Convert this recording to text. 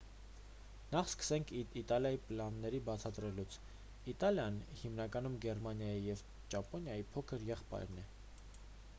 նախ սկսենք իտալիայի պլանները բացատրելուց իտալիան հիմնականում գերմանիայի և ճապոնիայի փոքր եղբայրն էր